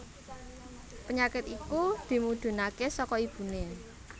Penyakit iku dimudhunaké saka ibuné